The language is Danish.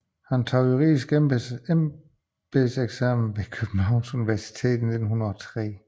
Han tog juridisk embedseksamen ved Københavns Universitet i 1903